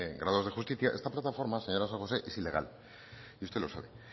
graduados de justicia esta plataforma señora san josé es ilegal y usted lo sabe